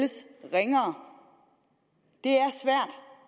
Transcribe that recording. ringere